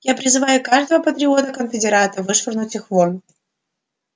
я призываю каждого патриота-конфедерата вышвырнуть их вон